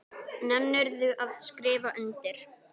Nennirðu að skrifa undir?